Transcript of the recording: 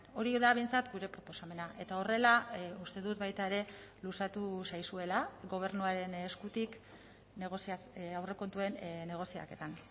hori da behintzat gure proposamena eta horrela uste dut baita ere luzatu zaizuela gobernuaren eskutik aurrekontuen negoziaketan